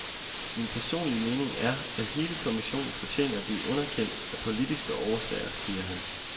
Min personlige mening er, at hele kommissionen fortjener at blive underkendt, af politiske årsager, siger han.